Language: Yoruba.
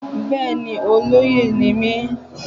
Bẹ́ẹ̀ni olóyè ni mí